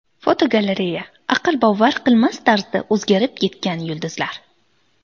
Fotogalereya: Aql bovar qilmas tarzda o‘zgarib ketgan yulduzlar.